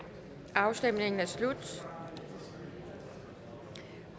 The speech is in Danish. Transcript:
afstemningen er slut